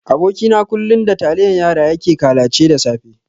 Aboki na kullun da taliyan yara yake kalace da safe.